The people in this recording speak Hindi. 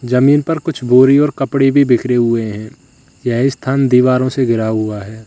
जमीन पर कुछ बोरी और कपड़े भी बिखरे हुए हैं यह स्थान दीवारों से घिरा हुआ है।